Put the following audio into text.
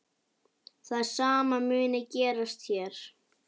Það sama muni gerast hér.